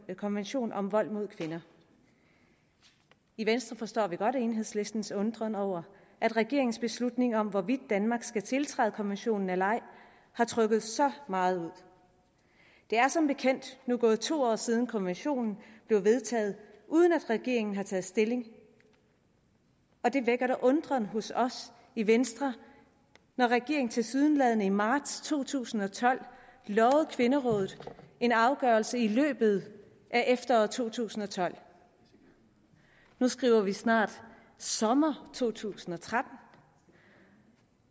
konvention om vold mod kvinder i venstre forstår vi godt enhedslistens undren over at regeringens beslutning om hvorvidt danmark skal tiltræde konventionen eller ej har trukket så meget ud der er som bekendt nu gået to år siden konventionen blev vedtaget uden at regeringen har taget stilling og det vækker da undren hos os i venstre når regeringen tilsyneladende i marts to tusind og tolv lovede kvinderådet en afgørelse i løbet af efteråret to tusind og tolv nu skriver vi snart sommer to tusind og tretten